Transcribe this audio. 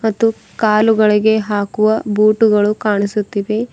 ಇದು ಕಾಲುಗಳಿಗೆ ಹಾಕುವ ಬೂಟುಗಳು ಕಾಣಿಸುತ್ತಿವೆ.